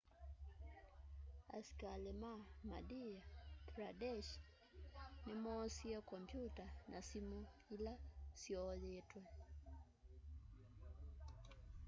asĩkalĩ ma madhya pradesh nĩmoosĩe kompyuta na sĩmũ ĩla syooyĩtwe